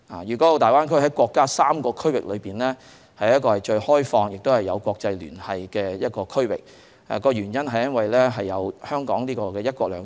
粵港澳大灣區在國家3個區域發展中是最開放、最有國際聯繫的，原因是香港有"一國兩制"。